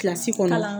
Kilasi kɔnɔn